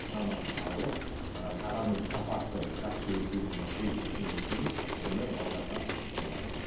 сынамасын алып ыыы тағамның сапасы жақсы екеніне көз жеткеннен кейін оны ұсынылады